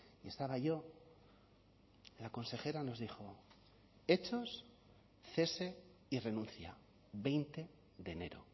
y estaba yo la consejera nos dijo hechos cese y renuncia veinte de enero